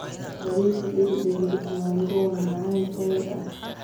Bariis dhegdheg leh mango waa macaan Thai ah.